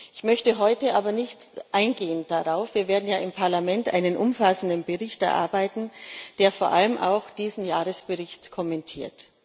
Ich möchte darauf aber heute nicht eingehen. Wir werden ja im Parlament einen umfassenden Bericht erarbeiten, der vor allem auch diesen Jahresbericht kommentiert.